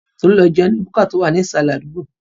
Tolú lọ jẹun ní búkà tó wà ní ìsàlẹ̀ àdúgbò.